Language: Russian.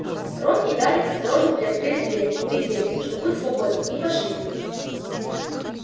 рон и гарри осторожно приоткрыли дверь убедились что путь свободен и пошли